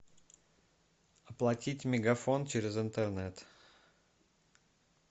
оплатить мегафон через интернет